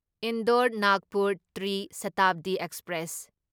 Indore Nagpur Tri Shatabdi express